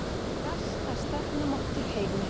Versta stefnumót í heimi